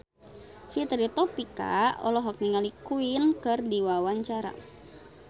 Fitri Tropika olohok ningali Queen keur diwawancara